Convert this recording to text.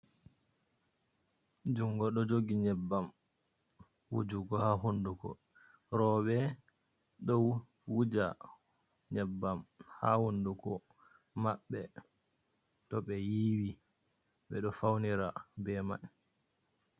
Jungo ɗo jogi nyebbam wujugo haa hunduko. Rooɓe ɗo wuja nyebbam haa hunduko maɓɓe to ɓe yiiwi, ɓe ɗo faunira be mai.